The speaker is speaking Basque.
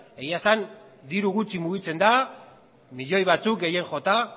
egia esan diru gutxi mugitzen da milioi batzuk gehien jota